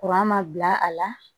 ma bila a la